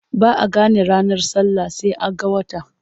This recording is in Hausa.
Ba a gane ranar sallah sai an ga wata.